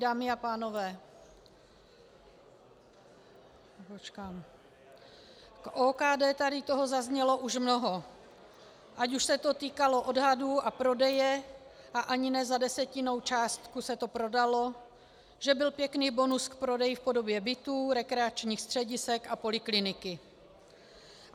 Dámy a pánové, k OKD tady toho zaznělo už mnoho, ať už se to týkalo odhadů a prodeje, a ani ne za desetinou částku se to prodalo, že byl pěkný bonus k prodeji v podobě bytů, rekreačních středisek a polikliniky.